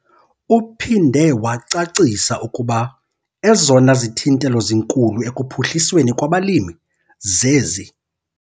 Uphinde wacacisa ukuba ezona zithintelo zinkulu ekuphuhlisweni kwabalimi zezi